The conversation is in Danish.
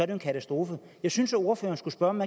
en katastrofe jeg synes ordføreren skulle høre om